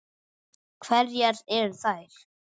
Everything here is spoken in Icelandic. Hverjar eru þær?